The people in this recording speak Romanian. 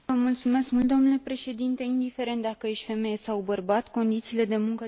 Indiferent dacă ești femeie sau bărbat, condițiile de muncă trebuie să fie identice.